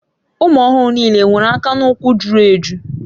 Ụmụ ọhụrụ niile e nwere aka na ụkwụ juru eju?